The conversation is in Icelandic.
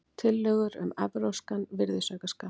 Tillögur um evrópskan virðisaukaskatt